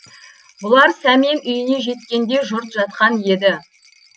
бұлар сәмен үйіне жеткенде жұрт жатқан еді